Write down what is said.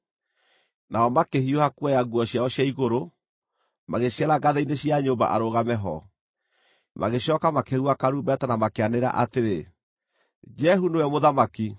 Nao makĩhiũha kuoya nguo ciao cia igũrũ, magĩciara ngathĩ-inĩ cia nyũmba arũgame ho, magĩcooka makĩhuha karumbeta na makĩanĩrĩra atĩrĩ, “Jehu nĩwe mũthamaki!”